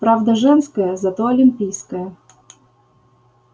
правда женская зато олимпийская